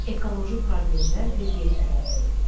Ekoloji problemlər və yer kürəsi.